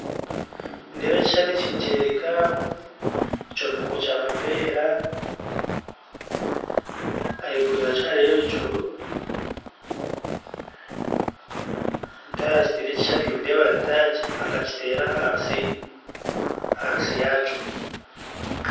Nindeeba ekishushani eki nikyoreka ekyombeko Kya mapeera ahaiguru yakyo hariyo ebicu omuntu ayakitera ekishushani nindeeba arinka akakitera ahansi ahansi yakyo.